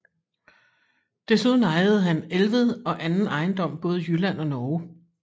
Desuden ejede han Elved og anden ejendom både i Jylland og Norge